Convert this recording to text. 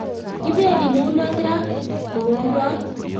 Kipendi mulot raa kourot